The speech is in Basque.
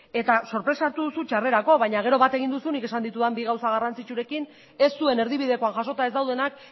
eta sorpresa hartu duzu txarrerako baina gero bat egin duzu nik esan ditudan bi gauza garrantzitsuekin ez zuek erdibidekoan jasota ez daudenak